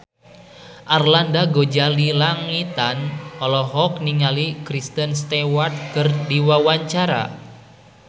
Arlanda Ghazali Langitan olohok ningali Kristen Stewart keur diwawancara